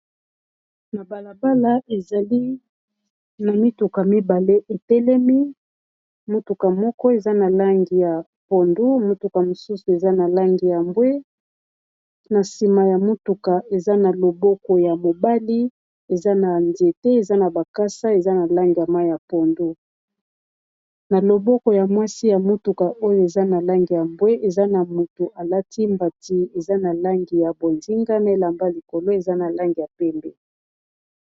Na balabala, ezali na mituka mibale etelemi. Motuka moko, eza na langi ya pondo. Mutuka mosusu, eza na langi ya mbwe. Na sima ya motuka, eza na loboko ya mobali, eza na nzete eza na bakasa eza na langi ya pondo. Na loboko ya mwasi ya motuka oyo, eza na langi ya mbwe. Eza na moto alati mbati eza na langi ya bozinga na elamba likolo eza na langi ya pembe.